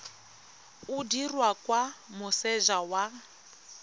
o dirwa kwa moseja wa